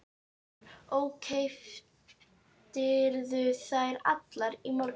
Hugrún: Og keyptirðu þær allar í morgun?